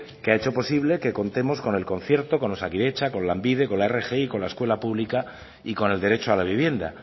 que ha hecho posible que contemos con el concierto con osakidetza con lanbide con la rgi con la escuela pública y con el derecho a la vivienda